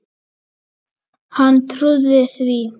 Hann trúði því.